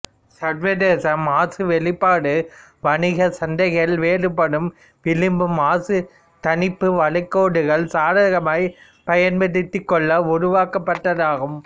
சர்வதேச மாசு வெளிப்பாடுவணிக சந்தைகள் வேறுபடும் விளிம்பு மாசு தணிப்பு வளைகோடுகளை சாதகமாய் பயன்படுத்திக் கொள்ள உருவாக்கப்பட்டதாகும்